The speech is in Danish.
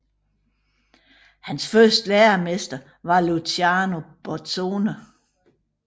Hans første læremester var Luciano Borzone